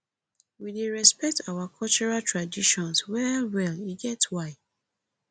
we dey respect our cultural traditions wellwell e get why